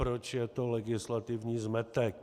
Proč je to legislativní zmetek.